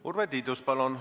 Urve Tiidus, palun!